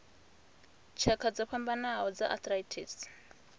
tshakha dzo fhambanaho dza arthritis